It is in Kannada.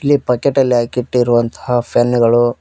ಇದು ಪ್ಯಾಕೆಟ್ ಅಲ್ಲಿ ಹಾಕಿಟ್ಟಿರುವಂತಹ ಫೆನ್ ಗಳು--